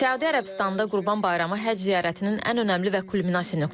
Səudiyyə Ərəbistanda Qurban Bayramı Həcc ziyarətinin ən önəmli və kulminasiya nöqtəsidir.